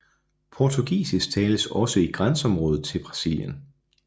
Portugisisk tales også i grænseområdet til Brasilien